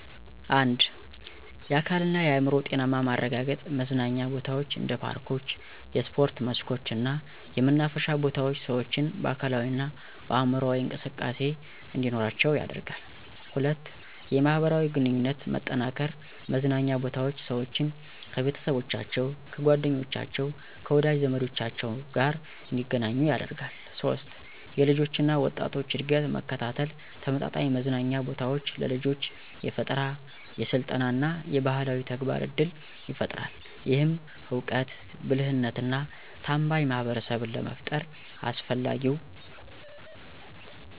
1. የአካልና የአዕምሮ ጤናማ ማረጋገጥ መዝናኛ ቦታዎች እንደ ፓርኮች፣ የስፖርት መስኮች እና የመናፈሻ ቦታዎች ሰዎችን በአካላዊ እና በአምሮአዊ እንቅስቃሴ እንዲኖራቸው ያደርጋል 2. የማህበራዊ ግንኙነት መጠናከር መዝናኛ ቦታዎች ሰዎችን፣ ከቤተሰቦቻቸው፣ ከጓደኞቻቸው፣ ከወዳጅ ዘመዶቻቸው ጋር እንደገናኙ ያደርጋሉ 3. የልጆች እና ወጣቶች እድገት መከታተል ተመጣጣኝ መዝናኛ ቦታዎች ለልጆች የፈጠራ፣ የስልጠና እና የባህላዊ ተግባር እድል ይፈጥራል። ይህም እውቀት፣ ብልህነትና ታማኝ ማህበረሰብን ለመፍጠር አስፈላጊው